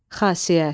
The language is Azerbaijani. Xasiyyət.